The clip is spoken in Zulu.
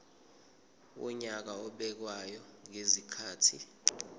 wonyaka obekwayo ngezikhathi